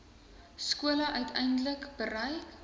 skole uiteindelik bereik